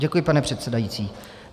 Děkuji, pane předsedající.